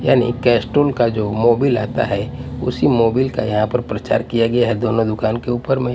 यानी कैस्टोल का जो मोबिल आता है उसी मोबिल का यहाँ पर प्रचार किया गया है दोनों दुकान के ऊपर में --